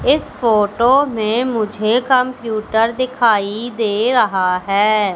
इस फोटो मे मुझे कंप्यूटर दिखाई दे रहा है।